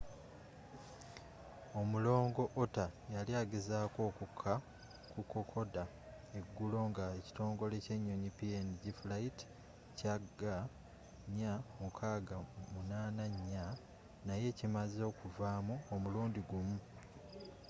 omulongo otter yali agezaako okukka ku kokoda eggulo nga ekitongole ky'ennyonyi png flight cg4684 naye kimaze okuvaamu omulundi gumu